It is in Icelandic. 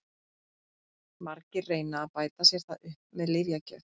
Margir reyna að bæta sér það upp með lyfjagjöf.